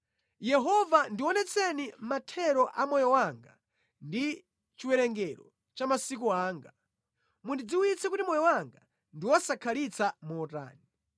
“Yehova ndionetseni mathero a moyo wanga ndi chiwerengero cha masiku anga; mundidziwitse kuti moyo wanga ndi wosakhalitsa motani.